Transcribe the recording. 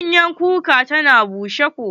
Ganyen kuka ta bushe ko.